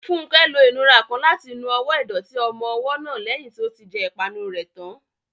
Funke lo ìnura kan láti nu ọwọ́ ìdọ̀tí ọmọ ọwọ́ náà lẹ́yìn tí ó ti jẹ ìpanu rẹ̀ tán.